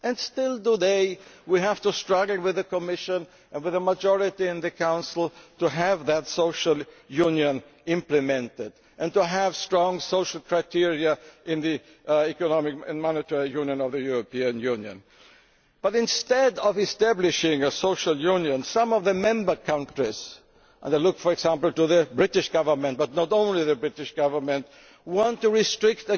Yet still today we have to struggle with the Commission, and with a majority in the Council, to have that social union implemented and to have strong social criteria in the economic and monetary union of the European Union. Instead of establishing a social union, some of the member countries and I look, for example to the British Government, but not only the British Government want to restrict